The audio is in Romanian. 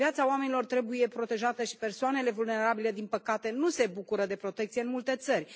Viața oamenilor trebuie protejată și persoanele vulnerabile din păcate nu se bucură de protecție în multe țări.